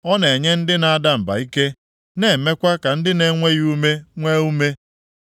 Ọ na-enye ndị na-ada mba ike, na-emekwa ka ndị na-enweghị ume nwee ume.